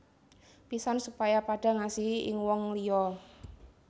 Pisan supaya padha ngasihi ing wong liya